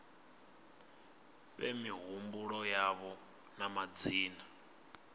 fhe mihumbulo yavho na madzina